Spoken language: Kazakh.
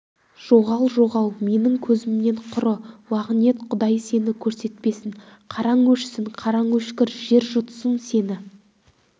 жоғал жоғал менің көзімнен құры лағнет құдай сені көрсетпесін қараң өшсін қараң өшкір жер жұтсын сені